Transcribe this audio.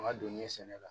An ka doni sɛnɛ la